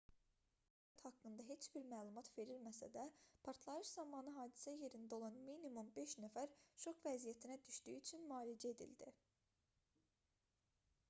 ciddi fiziki xəsarət haqqında heç bir məlumat verilməsə də partlayış zamanı hadisə yerində olan minimum beş nəfər şok vəziyyətinə düşdüyü üçün müalicə edildi